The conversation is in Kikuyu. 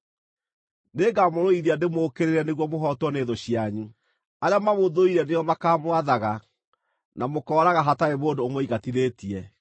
Nĩngamũrũithia ndĩmũũkĩrĩre nĩguo mũhootwo nĩ thũ cianyu; arĩa mamũthũire nĩo makaamwathaga, na mũkooraga hatarĩ mũndũ ũmũingatithĩtie.